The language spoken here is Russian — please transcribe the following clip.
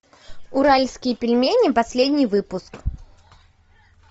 уральские пельмени последний выпуск